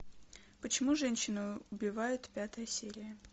почему женщины убивают пятая серия